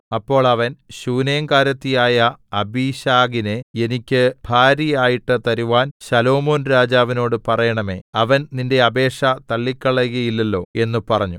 അപ്പോൾ അവൻ ശൂനേംകാരത്തിയായ അബീശഗിനെ എനിക്ക് ഭാര്യയായിട്ട് തരുവാൻ ശലോമോൻരാജാവിനോട് പറയേണമേ അവൻ നിന്റെ അപേക്ഷ തള്ളിക്കളകയില്ലല്ലോ എന്ന് പറഞ്ഞു